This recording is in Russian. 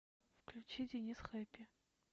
включи денис хэппи